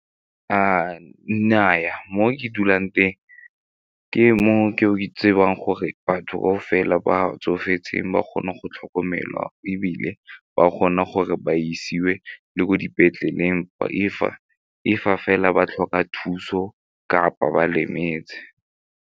Nnyaaa, mo ke dulang teng ke mo ke tsebang gore batho fela ba tsofetseng ba kgone go tlhokomelwa ebile ba kgone gore ba isiwe le ko dipetleleng fela ba tlhoka thuso kapa ba lemetse.